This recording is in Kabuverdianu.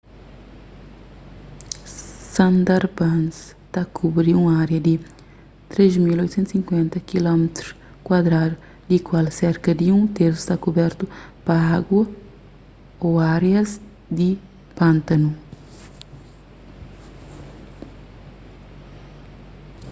sundarbans ta kubri un ária di 3.850 km² di kual serka di un tersu sta kubertu pa agu/árias di pántanu